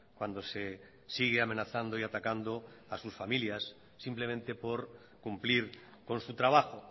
cuando se sigue amenazando y atacando a sus familias simplemente por cumplir con su trabajo